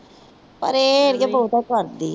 ਪਰ ਇਹ ਅੜੀਏ ਬਹੁਤਾ ਕਰਦੀ ਆ।